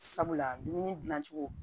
Sabula dumuni dilancogo